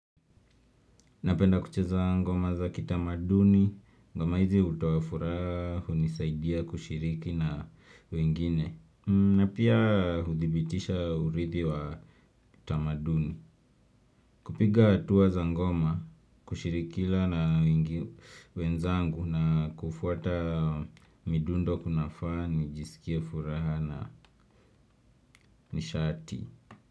Napenda kucheza ngoma za kitamaduni, ngoma hizi hutoafuraha, hunisaidia kushiriki na wengine. Napia hudhibitisha uridhi wa tamaduni. Kupiga hatuwa za ngoma, kushirikiana wenzangu na kufuata midundo kunanifanya nijisikie furaha na nishati.